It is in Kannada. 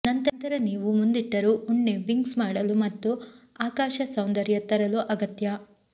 ನಂತರ ನೀವು ಮುಂದಿಟ್ಟರು ಉಣ್ಣೆ ವಿಂಗ್ಸ್ ಮಾಡಲು ಮತ್ತು ಆಕಾಶ ಸೌಂದರ್ಯ ತರಲು ಅಗತ್ಯ